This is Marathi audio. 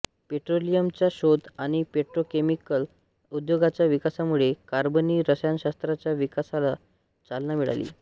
पेट्रोलियमचा शोध आणि पेट्रोकेमिकल उद्योगाच्या विकासामुळे कार्बनी रसायनशास्त्राच्या विकासास चालना मिळाली